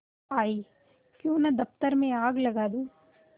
आयीक्यों न दफ्तर में आग लगा दूँ